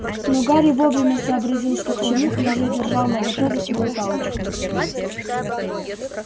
но гарри вовремя сообразил что к чему и уже держал наготове свою палочку